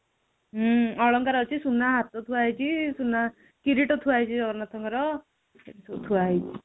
ହୁଁ ଅଳଙ୍କାର ଅଛି, ସୁନା ହାତ ଥୁଆ ହୋଉଛି, ସୁନା କିରୀଟ ଥୁଆ ହୋଉଛି ଜଗନ୍ନାଥଙ୍କର ଥୁଆ ହୋଉଛି